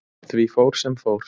Því fór, sem fór.